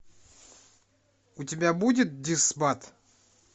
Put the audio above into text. у тебя будет дисбат